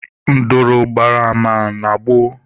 Nduru gbara ama na gboo